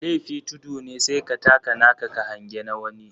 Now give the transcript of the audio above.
Lefi tudu ne sai ka taka naka ka hange na wani.